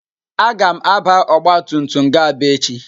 Agam àbá ọgbatumtum ga Aba echi.